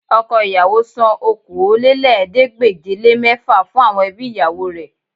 Ọkọ ìyàwó san Okòólélẹ́ẹ̀ẹ́dégbèje-le-mẹ́fà fún àwọn ẹbí ìyàwó rẹ̀